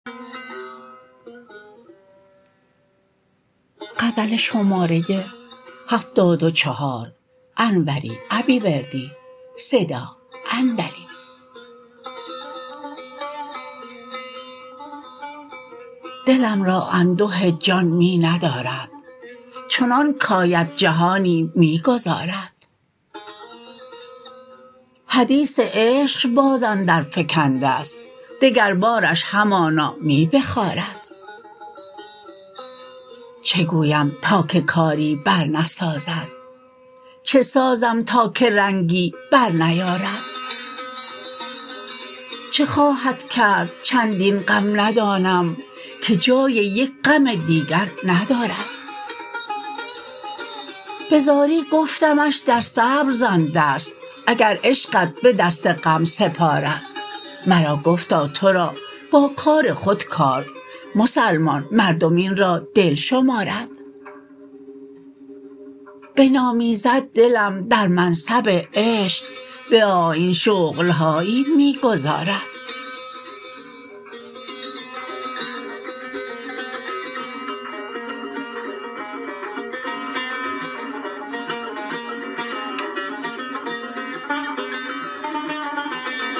دلم را انده جان می ندارد چنان کاید جهانی می گذارد حدیث عشق باز اندر فکندست دگر بارش همانا می بخارد چه گویم تا که کاری برنسازد چه سازم تا که رنگی برنیارد چه خواهد کرد چندین غم ندانم که جای یک غم دیگر ندارد به زاری گفتمش در صبر زن دست اگر عشقت به دست غم سپارد مرا گفتا ترا با کار خود کار مسلمان مردم این را دل شمارد بنامیزد دلم در منصب عشق به آیین شغل هایی می گذارد